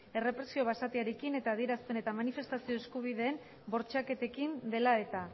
errepresio basatiarekin eta adierazpen eta manifestazio eskubideen bortxaketekin dela eta